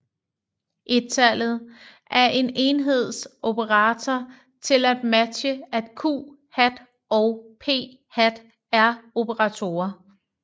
Ettallet er en enheds operator til at matche at q hat og p hat er operatorer